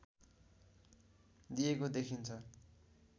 दिएको देखिन्छ